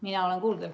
Mina olen kuuldel.